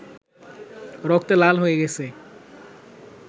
রক্তে লাল হয়ে গেছে